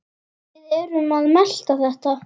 Við erum að melta þetta.